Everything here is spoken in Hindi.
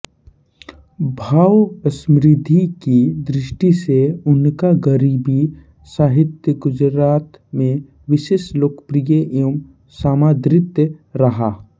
भावसमृद्धि की दृष्टि से उनका गरबी साहित्य गुजरात मे विशेष लोकप्रिय एवं समादृत रहा है